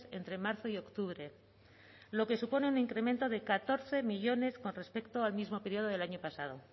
entre marzo y octubre lo que supone un incremento de catorce millónes con respecto al mismo periodo del año pasado